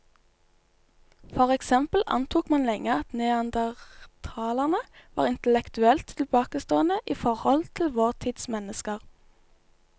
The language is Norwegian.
For eksempel antok man lenge at neandertalerne var intellektuelt tilbakestående i forhold til vår tids mennesker.